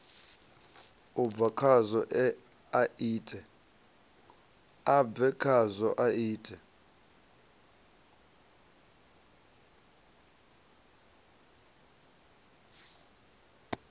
a bve khazwo a ite